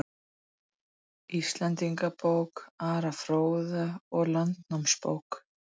Íslendingabók Ara fróða og Landnámabók